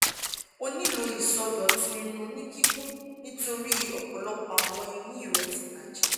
o nilo isọdọtun ẹnu ni kikun nitori ọpọlọpọ awọn eyin re ti bajẹ